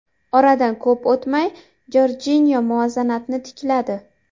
Oradan ko‘p o‘tmay Jorjinyo muvozanatni tikladi.